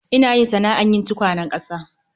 Ina yin sana'ar yin tukwanen ƙasa